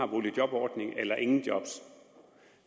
boligjobordningen eller ingen job